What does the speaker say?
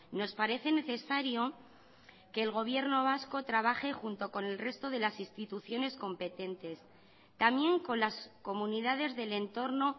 nos parece necesario que el gobierno vasco trabaje junto con el resto de las instituciones competentes también con las comunidades del entorno